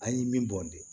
An ye min bɔn de